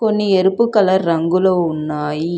కొన్ని ఎరుపు కలర్ రంగులో ఉన్నాయి